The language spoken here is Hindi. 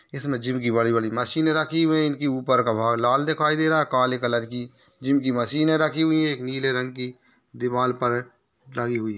इसमे जिम की बड़ी बड़ी मशीने रखी हुई हैं इनकी उपर का भाग लाल दिखाई दे रहा है काले कलर की जिम की मशीने रखी हुई है एक नीले रंग की दिवाल पर लगी हुई।